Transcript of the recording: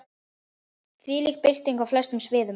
Þvílík bylting á flestum sviðum.